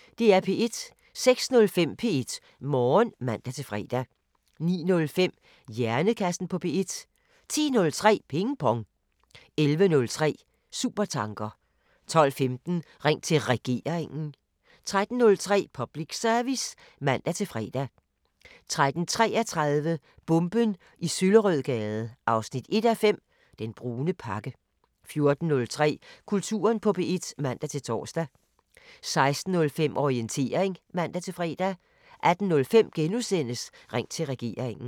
06:05: P1 Morgen (man-fre) 09:05: Hjernekassen på P1 10:03: Ping Pong 11:03: Supertanker 12:15: Ring til Regeringen 13:03: Public Service (man-fre) 13:33: Bomben i Søllerødgade 1:5 – Den brune pakke 14:03: Kulturen på P1 (man-tor) 16:05: Orientering (man-fre) 18:05: Ring til Regeringen *